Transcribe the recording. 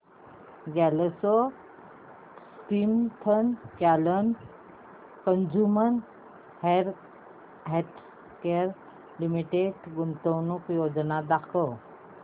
GlaxoSmithKline Consumer Healthcare Limited गुंतवणूक योजना दाखव